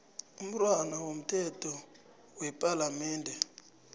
imntwana womthetho wepalamende